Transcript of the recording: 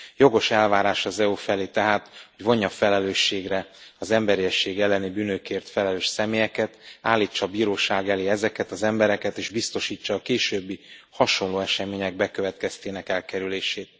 Jogos elvárás az EU felé tehát, hogy vonja felelősségre az emberiesség elleni bűnökért felelős személyeket, állítsa bíróság elé ezeket az embereket, és biztosítsa a későbbi hasonló események bekövetkeztének elkerülését.